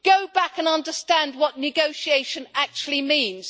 Go back and understand what negotiation actually means.